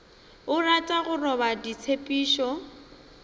o rata go roba ditshepišo